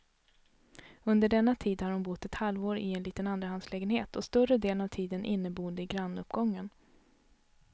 Under denna tid har hon bott ett halvår i en liten andrahandslägenhet, och större delen av tiden inneboende i grannuppgången.